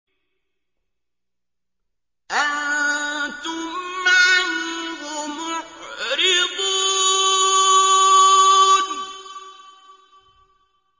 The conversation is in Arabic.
أَنتُمْ عَنْهُ مُعْرِضُونَ